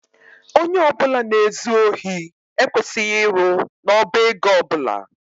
Ónyé ọbula na ezu ohi ekwesịghị ịrụ n' ọbá égo ọbula.